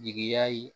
Jigiya ye